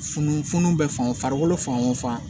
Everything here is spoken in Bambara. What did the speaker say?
Funufunun bɛ fangolo fan o fan